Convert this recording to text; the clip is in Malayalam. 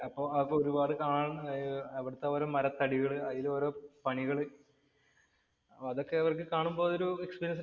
അപ്പൊ ഒരുപാട് കാണണം. അവിടത്തെ ഓരോ മരത്തടികള് അതിലോരോ പണികള് അവര്‍ക്ക് അതൊക്കെ കാണുമ്പോ ഒരു എക്സ്പീരിയന്‍സ്